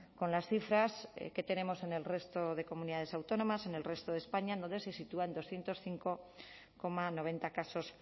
con las cifras que tenemos en el resto de comunidades autónomas en el resto de españa donde se sitúa en doscientos cinco coma noventa casos